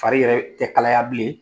Fari yɛrɛ tɛ kalaya bilen,